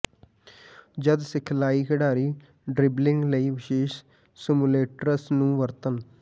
ਜਦ ਸਿਖਲਾਈ ਖਿਡਾਰੀ ਡ੍ਰਿਬਲਿੰਗ ਲਈ ਵਿਸ਼ੇਸ਼ ਸਿਮੁਲੇਟਰਸ ਨੂੰ ਵਰਤਣ